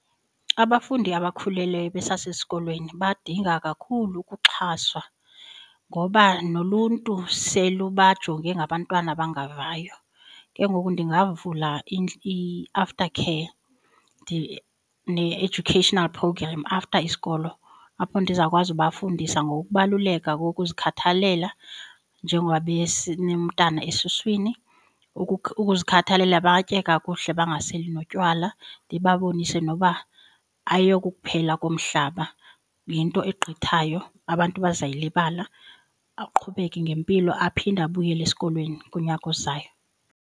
Abafundi abakhulelweyo besasesikolweni badinga kakhulu ukuxhaswa ngoba noluntu selubajonge ngabantwana abangavayo. Ke ngoku ndingavula i-aftercare ne-educational program after isikolo apho ndizawukwazi ubafundisa ngokubaluleka ngokuzikhathalela njengoba ebesenemntana esuswini, ukuzikhathalela batye kakuhle bangaseli notywala. Ndibabonise noba ayokukuphela komhlaba yinto egqithayo abantu bazawuyilibala aqhubeke ngempilo aphinde abuyele esikolweni kunyaka ozayo.